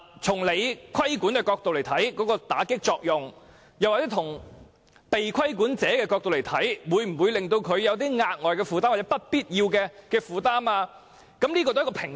從政府規管的角度來看，法例能否起到打擊罪行的作用，而從被規管者的角度來看，法例會否令他們有額外或不必要的負擔，兩者須取得平衡。